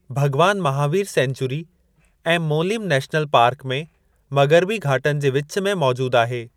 भगवान महावीर सेन्चयूरी ऐं Mollem national park में मग़िरबी घाटनि जे विचु में मौजूदु आहे।